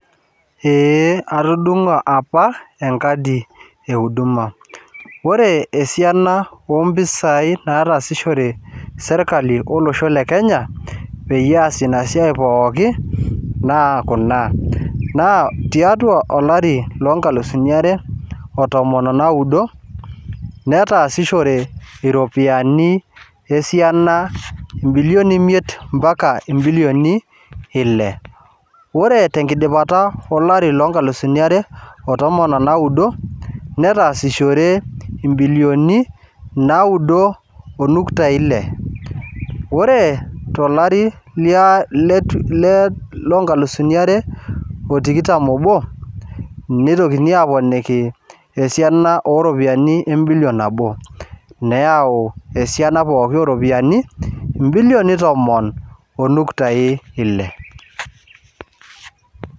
Eeh, atudung'o apa enkadi euduma, pre esiana ompisai nataasishore sirkali olosho le Kenya peyie easie ina siai pooki naa kuna, naa tiatu olari loo inkalusini are o tomon naudo, netaasishore iropiyiani esiani milioni imiet impaka imilioni ile, ore te nkidipata olari loo inkalusuni are o tomon onaudo, netaasishore imbilioni naudo onukta ile, ore te ilari le lonkalusuni are o tikitam obo neitokini aaponiki osiana o iropiyiani embilion nabo, neyau esiana pooki o iropiyiani imbilioni tomon onuktai ile.